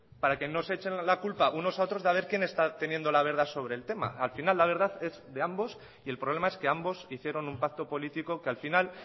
para que no se echen la culpa unos a otros de haber quién está teniendo la verdad sobre el tema al final la verdad es de ambos y el problema es que ambos hicieron un pacto político que al final